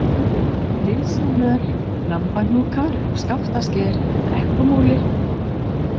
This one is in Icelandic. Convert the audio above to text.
Dysjamöl, Lambahnúkar, Skaftasker, Brekkumúli